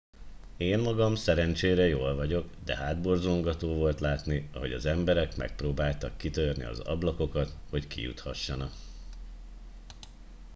én magam szerencsére jól vagyok de hátborzongató volt látni ahogy az emberek megpróbálták kitörni az ablakokat hogy kijuthassanak